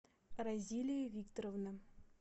розилия викторовна